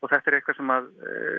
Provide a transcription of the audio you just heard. þetta er eitthvað sem